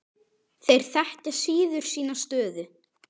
Þeir þekkja síður sína stöðu.